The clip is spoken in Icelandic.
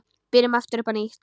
Byrjum aftur upp á nýtt.